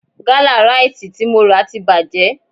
Gálà Ráìtì tí mo rà ti bàjẹ́